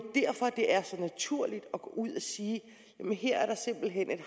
derfor det er så naturligt at gå ud og sige at her er der simpelt hen et